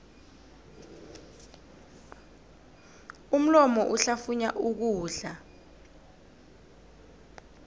umlomo uhlafunya ukudla